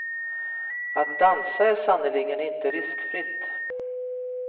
Att dansa är sannerligen inte riskfritt.